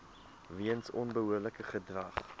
weens onbehoorlike gedrag